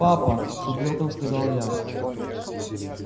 папа с упрёком сказала я